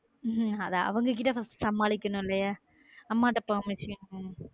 உம் அது அவங்க கிட்ட first வந்து சமாளிக்கனும் இல்லையா அம்மாட்ட permission